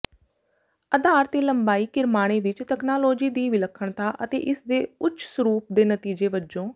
ਆਧਾਰ ਦੇ ਲੰਬੇ ਕਿਰਮਾਣੇ ਵਿੱਚ ਤਕਨਾਲੋਜੀ ਦੀ ਵਿਲੱਖਣਤਾ ਅਤੇ ਇਸਦੇ ਉੱਚ ਸਰੂਪ ਦੇ ਨਤੀਜੇ ਵਜੋਂ